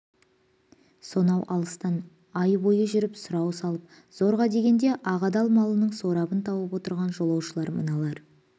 сонау алыстан ай бойы жүріп сұрау салып зорға дегенде ақ адал малының сорабын тауып отырған жолаушылар мыналар